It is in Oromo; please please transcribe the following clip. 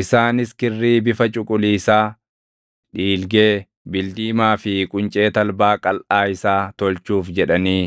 Isaanis kirrii bifa cuquliisaa, dhiilgee, bildiimaa fi quncee talbaa qalʼaa isaa tolchuuf jedhanii